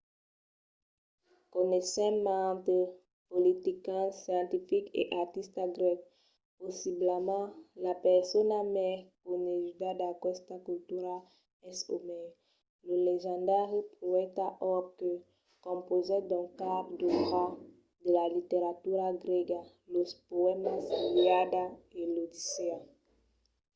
coneissèm mantes politicians scientifics e artistas grècs. possiblament la persona mai coneguda d’aquesta cultura es omèr lo legendari poèta òrb que compausèt dos caps d’òbra de la literatura grèga: los poèmas l’iliada e l’odissèa